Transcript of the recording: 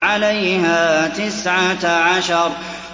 عَلَيْهَا تِسْعَةَ عَشَرَ